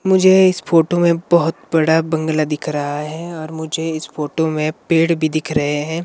मुझे इस फोटो में बहुत बड़ा बंगला दिख रहा है और मुझे इस फोटो में पेड़ भी दिख रहे हैं।